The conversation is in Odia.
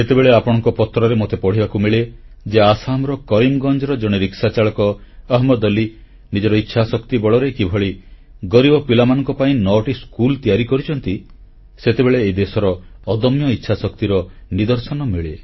ଯେତେବେଳେ ଆପଣଙ୍କ ପତ୍ରରେ ମୋତେ ପଢ଼ିବାକୁ ମିଳେ ଯେ ଆସାମର କରିମଗଞ୍ଜର ଜଣେ ରିକ୍ସାଚାଳକ ଅହମଦ୍ ଅଲି ନିଜର ଇଚ୍ଛାଶକ୍ତି ବଳରେ କିଭଳି ଗରିବ ପିଲାମାନଙ୍କ ପାଇଁ 9ଟି ସ୍କୁଲ ତିଆରି କରିଛନ୍ତି ସେତେବେଳେ ଏହି ଦେଶର ଅଦମ୍ୟ ଇଚ୍ଛାଶକ୍ତିର ନିଦର୍ଶନ ମିଳେ